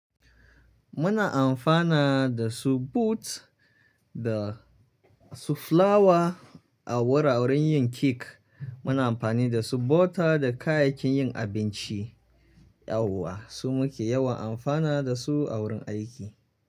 Muna amfana da su boot da su flawa a wuraren yin cake. Muna amfani da su bota da kayayyakin yin abinci, yauwa su muke yawan amfana da su a wurin aiki.